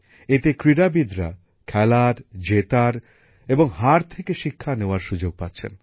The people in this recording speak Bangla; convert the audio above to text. এতে ক্রীড়াবিদরা খেলার জেতার এবং হার থেকে শিক্ষা নেওয়ার সুযোগ পাচ্ছেন